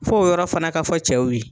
F'o yɔrɔ fana ka fɔ cɛw ye.